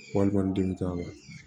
Wali kɔni den bɛ k'a la